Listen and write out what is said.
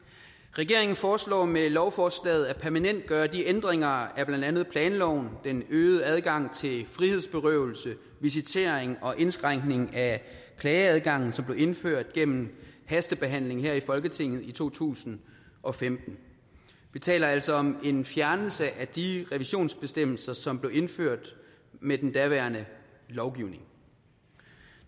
regeringen foreslår med lovforslaget at permanentgøre de ændringer af blandt andet planloven den øgede adgang til frihedsberøvelse visitering og indskrænkning af klageadgangen som blev indført gennem hastebehandling her i folketinget i to tusind og femten vi taler altså om en fjernelse af de revisionsbestemmelser som blev indført med den daværende lovgivning